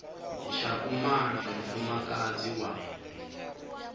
tsha u mala mufumakadzi wa